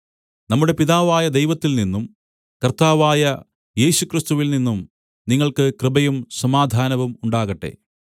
നമ്മുടെ പിതാവായ ദൈവത്തിൽനിന്നും കർത്താവായ യേശുക്രിസ്തുവിൽ നിന്നും നിങ്ങൾക്ക് കൃപയും സമാധാനവും ഉണ്ടാകട്ടെ